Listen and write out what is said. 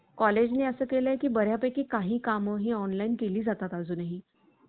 college ने असं केलं की बऱ्यापैकी काही काम ही online केली जातात अजूनही.